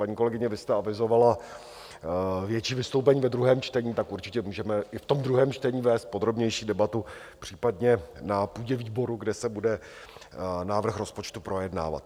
Paní kolegyně, vy jste avizovala větší vystoupení ve druhém čtení, tak určitě můžeme i v tom druhém čtení vést podrobnější debatu, případně na půdě výboru, kde se bude návrh rozpočtu projednávat.